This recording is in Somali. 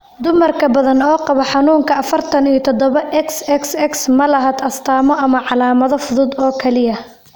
Dumar badan oo qaba xanuunka afartan iyo toodoba XXX ma laha astamo ama calaamado fudud oo kaliya.